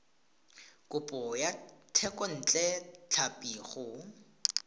kopo ya thekontle tlhapi go